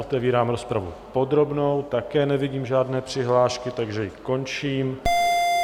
Otevírám rozpravu podrobnou, také nevidím žádné přihlášky, takže ji končím.